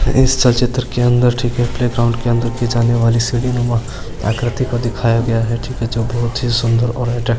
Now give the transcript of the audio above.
इस चलचित्र के अंदर प्लेग्राउंड के अंदर रखी जाने वाली सीढ़ीनुमा आकृति को दिखाया गया है जो बहुत ही सुन्दर और अट्रैक्टिव --